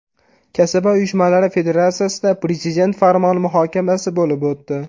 Kasaba uyushmalari federatsiyasida Prezident farmoni muhokamasi bo‘lib o‘tdi.